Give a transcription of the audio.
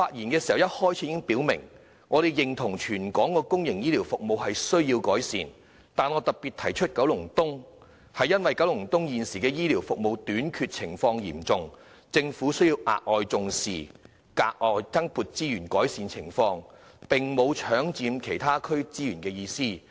我在發言開始時已表明，我們認同全港公營醫療服務需要改善，但我特別提出九龍東，是因為該區現時的醫療服務短缺情況嚴重，政府需要額外重視，並增撥資源改善情況，並沒有搶佔其他區的資源的意思。